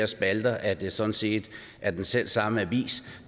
spalter at det sådan set er den selv samme avis